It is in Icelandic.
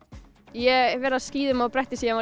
ég vera á skíðum og bretti síðan